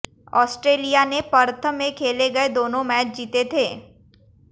Australia ने Perth में खेले गये दोनों मैच जीते थे